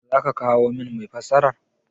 Za ka kawo min mai fassara?